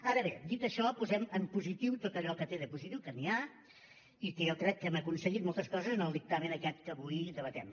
ara bé dit això posem en positiu tot allò que té de positiu que n’hi ha i que jo crec que hem aconseguit moltes coses en el dictamen aquest que avui debatem